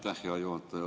Aitäh, hea juhataja!